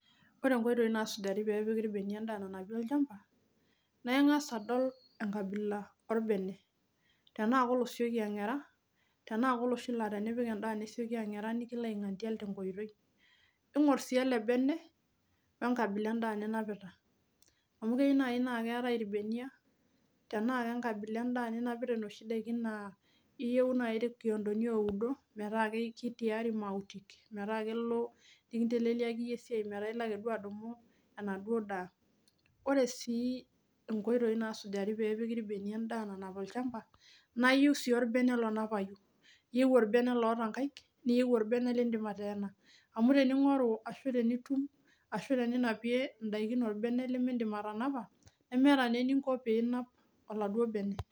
Wore inkoitoi naasujari pee epiki irbeniak endaa nanapi olchamba, naa ingas adol enkabila orbene. Tenaa kolosieki angera, tenaa koloshi naa tenipik endaa nesioki angera nikilo aingandial tenkoitoi, ingor sii ele bene, wenkabila endaa ninapita. Amu keyiou naai naa keetae irbeniak, tenaa kenkabila endaa ninapita inoshi daikin naa iyieu naai irkiondoni oudo metaa kitiari imautik, metaa kelo nikinteleliaki iyie esiai metaa ilo aiteru adumu enaduo daa. Wore sii inkoitoi naasujari pee epiki irbeniak endaa nanap olchamba, nayiou sii orbene, lonapai. Iyieu orbene loota inkaik, niyieu orbene liindim ateena. Amu teningoru ashu tenitum, ashu teninapie indaikin orbene limiidim atanapa, nemeeta naa eninko pee inap oladuo bene.